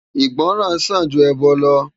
Igbòrán sán jú èbò lò